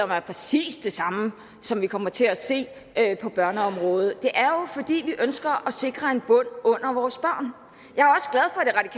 mig er præcis det samme som vi kommer til at se på børneområdet det er jo fordi vi ønsker at sikre en bund under vores børn